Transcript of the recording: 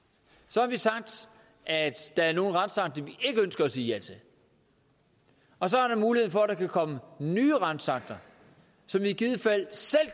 så har vi sagt at der er nogle retsakter vi ikke ønsker at sige ja til og så er der mulighed for at der kan komme nye retsakter som vi i givet fald selv